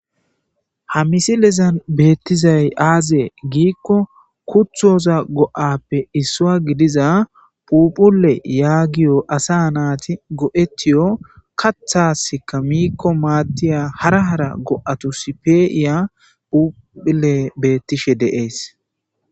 Ha misilezan beethrizay aazee giikko kuththoza go7aappe issuwaa gidiza phuuphulle yaagiyo asaa naathi go7eththiyo kaththaassikka miikko maaddiya hara hara go7athussi pee7iya phuuphullee beeththishe de7ees.